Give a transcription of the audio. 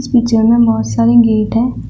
इस पिक्चर में बहोत सारे गेट हैं।